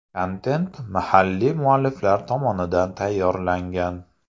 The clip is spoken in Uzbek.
Kontent mahalliy mualliflar tomonidan tayyorlangan.